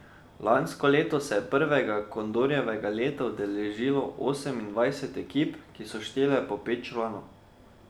Lansko leto se je prvega Kondorjevega leta udeležilo osemindvajset ekip, ki so štele po pet članov.